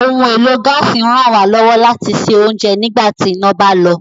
Ohun èlò gaasi ń ràn wá lọ́wọ́ láti sè ounjẹ nígbà tí iná bá lọ